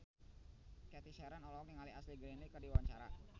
Cathy Sharon olohok ningali Ashley Greene keur diwawancara